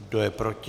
Kdo je proti?